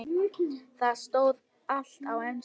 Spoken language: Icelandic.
Þar stóð allt á ensku.